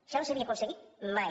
això no s’havia aconseguit mai